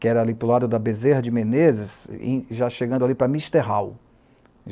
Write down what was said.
Que era ali para o lado da Bezerra de Menezes e já chegando ali para Misterral.